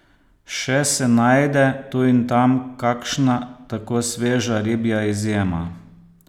Še se najde, tu in tam, kakšna tako sveža ribja izjema!